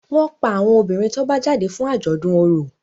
wón pá àwọn obìrin tó bá jáde fún ajọdun ọrọ.